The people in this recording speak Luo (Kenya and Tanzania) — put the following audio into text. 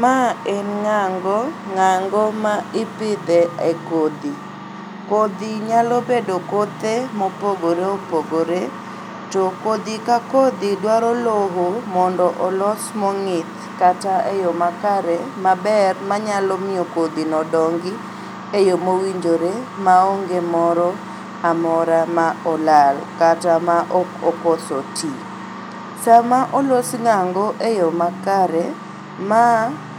Ma en ng'ango.Ng'ango ma ipidhe e kodhi. Kodhi nyalobedo kothe mopogore opogore. To kodhi ka kodhi dwaro loo mondo olos mong'ith kata e yoo makare maber manyalo miyo kodhino dongi e yoo mowinjore maonge moro amora ma olal kata ma ok okoso tii. Sama olos ng'ango e yoo makare ma